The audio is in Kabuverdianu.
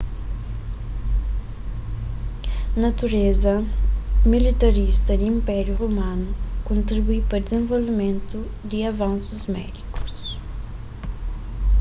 natureza militarista di inpériu romanu kontribui pa dizenvolvimentu di avansus médikus